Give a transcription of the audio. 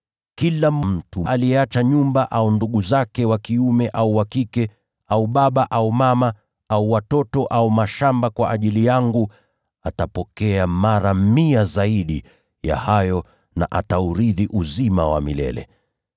Kila mtu aliyeacha nyumba, au ndugu zake wa kiume au wa kike, baba au mama, watoto au mashamba kwa ajili yangu, atapokea mara mia zaidi ya hayo, na ataurithi uzima wa milele.